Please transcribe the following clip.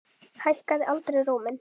Hækkaði aldrei róminn.